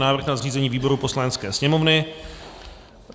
Návrh na zřízení výborů Poslanecké sněmovny